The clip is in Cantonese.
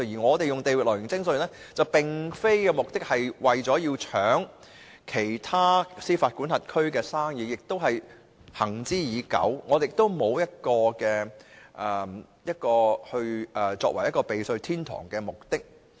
我們採用地域來源徵稅原則，目的並非要搶奪其他司法管轄區的生意，這一原則行之已久，目的並非讓香港成為避稅天堂。